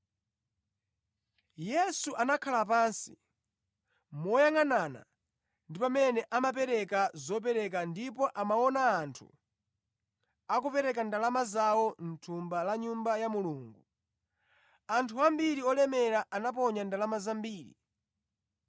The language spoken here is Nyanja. Yesu anakhala pansi moyangʼanana ndi pamene amaperekera zopereka ndipo amaona anthu akupereka ndalama zawo mʼthumba la Nyumba ya Mulungu. Anthu ambiri olemera anaponya ndalama zambiri.